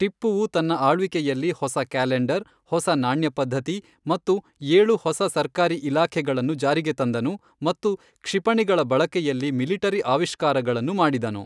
ಟಿಪ್ಪುವು ತನ್ನ ಆಳ್ವಿಕೆಯಲ್ಲಿ ಹೊಸ ಕ್ಯಾಲೆಂಡರ್, ಹೊಸ ನಾಣ್ಯ ಪದ್ಧತಿ ಮತ್ತು ಏಳು ಹೊಸ ಸರ್ಕಾರಿ ಇಲಾಖೆಗಳನ್ನು ಜಾರಿಗೆ ತಂದನು ಮತ್ತು ಕ್ಷಿಪಣಿಗಳ ಬಳಕೆಯಲ್ಲಿ ಮಿಲಿಟರಿ ಆವಿಷ್ಕಾರಗಳನ್ನು ಮಾಡಿದನು.